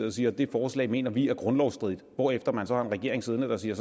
og siger at det forslag mener de er grundlovsstridigt hvorefter man har en regering siddende der siger